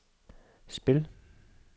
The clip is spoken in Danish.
spil